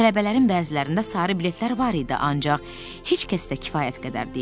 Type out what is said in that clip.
Tələbələrin bəzilərində sarı biletlər var idi, ancaq heç kəsdə kifayət qədər deyildi.